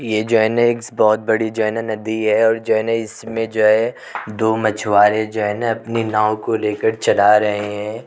ये जो है न एग्स बहोत बड़ी जो है न नदी है और जो है न इसमें जो है दो मछुआरे जो हैं न अपनी नाव को लेकर चला रहे हैं।